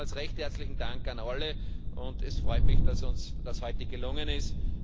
Nochmals recht herzlichen Dank an alle. Es freut mich, dass uns das heute gelungen ist.